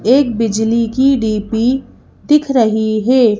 एक बिजली की डी_पी दिख रही है।